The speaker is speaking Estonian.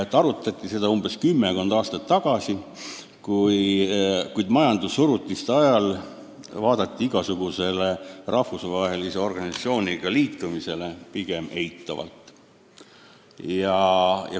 Riigina ühinemist arutati kümmekond aastat tagasi, kuid majandussurutise ajal suhtuti rahvusvaheliste organisatsioonidega liitumisse pigem eitavalt.